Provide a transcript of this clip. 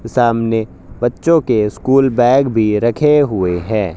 सामने बच्चों के स्कूल बैग भी रखे हुए हैं।